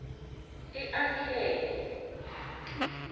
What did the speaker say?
iakhe